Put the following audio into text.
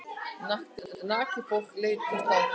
Nakið fólk leitt til slátrunar.